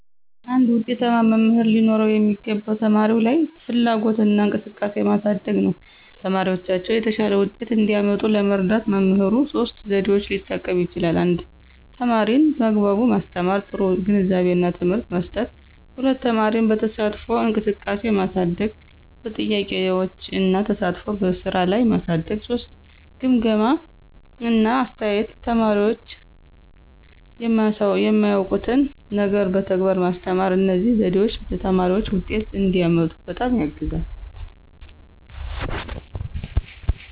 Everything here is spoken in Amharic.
አንድ ዉጤታማ መምህር ሊኖረው የሚገባው ተማሪዎች ላይ ፍላጎትና እንቅስቃሴ ማሳደግ ነው። ተማሪዎቻቸው የተሻለ ውጤት እንዲያመጡ ለመርዳት መምህሩ ሶስት ዘዴዎችን ሊጠቀም ይችላል 1) ተማሪን በአግባቡ ማስተማር – ጥሩ ግንዛቤና ትምህርት መስጠት፣ 2) ተማሪን በተሳትፎ እንቅስቃሴ ማሳደግ – በጥያቄዎች እና ተሳትፎ በስራ ላይ ማሳደግ፣ 3) ግምገማ እና አስተያየት – ተማሪዎች የማያውቁትን ነገር በተግባር ማስተማር። እነዚህ ዘዴዎች ተማሪዎች ውጤት እንዲያመጡ በጣም ያግዛሉ።